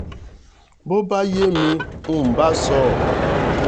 bó bá yé mi ni ǹ bá sọ